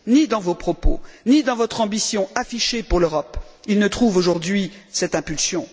Ni dans vos propos, ni dans votre ambition affichée pour l'Europe, ils ne trouvent aujourd'hui cette impulsion.